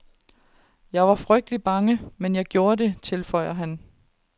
Jeg var frygtelig bange, men jeg gjorde det, tilføjer han.